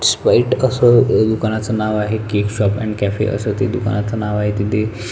spite कस अ दुकानाचं नाव आहे केक शाॅप अँड कॅफे असे ते दुकानाचे नाव आहे तिथे--